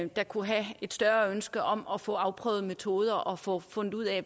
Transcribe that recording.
der kunne have et større ønske om at få afprøvet metoder og få fundet ud af